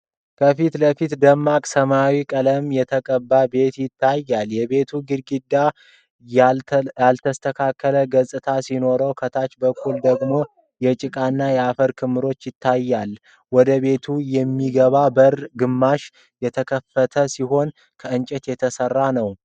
ከፊት ለፊት ደማቅ ሰማያዊ ቀለም የተቀባ ቤት ይታያል። የቤቱ ግድግዳዎች ያልተስተካከለ ገጽታ ሲኖራቸው ከታች በኩል ደግሞ የጭቃና የአፈር ክምችት ይታያል። ወደ ቤቱ የሚገባው በር ግማሽ የተከፈተ ሲሆን ከእንጨት የተሰራ ነው።